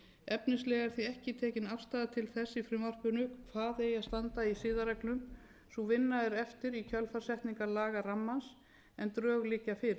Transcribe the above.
efnislega er ekki tekin afstaða til þess í frumvarpinu hvað eigi að standa í siðareglum sú vinna er eftir í kjölfar setningar lagarammans en drög liggja fyrir til viðbótar